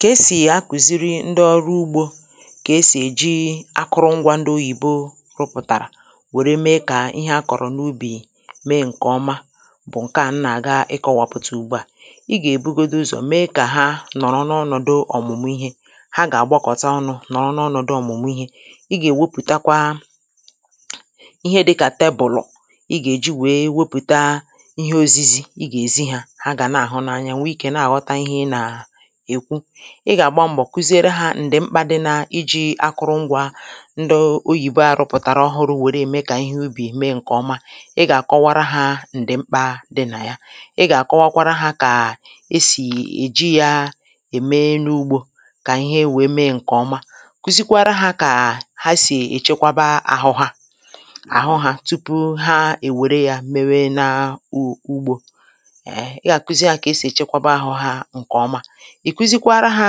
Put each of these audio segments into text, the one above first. Kà esì akụ̀ziri ndị ọrụ ugbō kà esì èji akụrụ ngwā ndị oyìbo rụpụ̀tàrà wère me kà ihe akọ̀rọ̀ n’ubì me ǹkè ọma bụ̀ ǹke a m nà àga ịkọ̄wàpụ̀tà ùgbu à ị gà èbugodu ụzọ̀ me kà ha nọ̀rọ n’ọnọ̀dụ ọ̀mụ̀mù ihe ha gà-àgbakọ̀ta ọnụ̄ nọọ n’ọnọ̀dụ ọ̀mụ̀mụ̀ ihe ị gà-èwepụ̀takwa ihe dịkà tebùlù ị gà-èji wee wepụ̀ta ihe ozizi ị gà-èzi hā ha gà na-àhụ n’anya nwe ikē na àghọta ihe ị nà-èkwu ị gà àgba mbọ̀ kụziere hā ǹdì mkpā dị na ijī akụrụ ngwā ndị oyìbo à rụpụ̀tàrà ọhụrụ̄ wère ème kà ihe ubì me ǹkè ọma ị gà àkọwara hā ǹdị̀ mkpā dị nà yā ị gà àkọwakwara hā kà esì èji yā ème n’ugbō kà ihe wee me ǹkè ọma, kụzikwara hā kà ha sì èchekwaba àhụ hā àhụ hā tupu ha è wère yā mewe nà u ugbō èhe ị gà àkụzi hā kà esì èchekwaba ahụ̄ hā ǹkè oma, ị̀ kụzikwara hā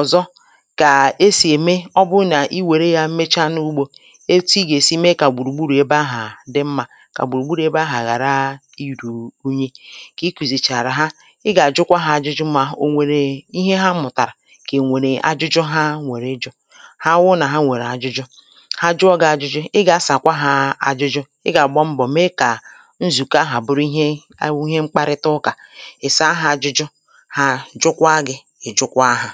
ọ̀zọ kà esì ème ọ bụ nà ị wère yā mecha n’ugbō etu ị gà-èsi me kà gbùrùgburù ebe ahà dị mmā kà gbùrùgburù ebe ahà ghàra irù unyi kà ị kụ̀zìchàrà ha ị gà-àjụkwa hā ajụjụ mà ò nwèrè ihe ha mụ̀tàrà kà è nwèrè ajụjụ ha nwèrè ịjụ̄ ha wụ nà ha nwèrè ajụjụ ha jụọ gị̄ ajụjụ ị gà-asàkwa hā ajụjụ ị gà àgba mbọ̀ me kà nzùkọ ahà bụrụ ihe a wụ ihe mkparịta ụkà ị saa hā ajụjụ hà jụkwa gị ị jụkwa hā.